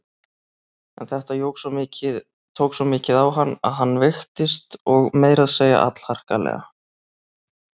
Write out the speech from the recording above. En þetta tók svo mikið á hann að hann veiktist og meira að segja allharkalega.